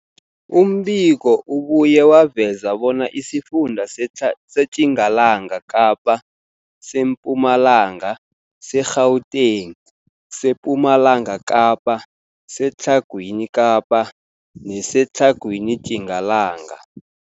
Umbiko ubuye waveza bona isifunda seTjingalanga Kapa, seMpumalanga, seGauteng, sePumalanga Kapa, seTlhagwini Kapa neseTlhagwini Tjingalanga.